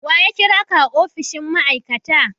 Wa ya kira ka a opishin ma'aikata?